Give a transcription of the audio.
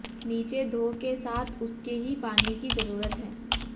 नीचे धो के साथ उसके ही पानी की जरूरत है